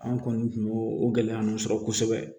An kɔni kun y'o o gɛlɛya nunnu sɔrɔ kosɛbɛ